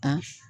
A